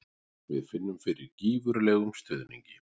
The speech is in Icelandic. Við finnum fyrir gífurlegum stuðningi.